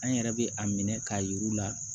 An yɛrɛ bɛ a minɛ k'a yir'u la